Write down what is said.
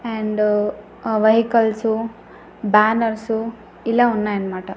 And ఆ vehicles banners ఇలా ఉన్నాయి అన్న మాట.